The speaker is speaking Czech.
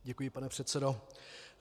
Děkuji, pane předsedo.